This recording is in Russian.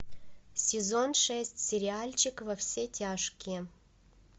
сезон шесть сериальчик во все тяжкие